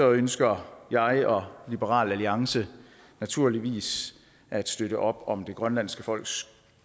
ønsker jeg og liberal alliance naturligvis at støtte op om det grønlandske folks